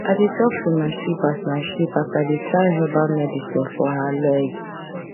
i dey talk to my sheep as my sheep as i dey tie herbal medicine for her leg